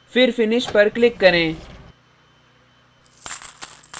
फिर finish पर click करें